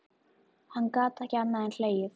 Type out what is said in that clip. Hann gat ekki annað en hlegið.